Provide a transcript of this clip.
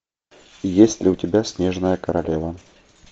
есть ли у тебя снежная королева